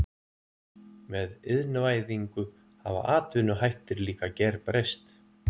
Með iðnvæðingu hafa atvinnuhættir líka gerbreyst.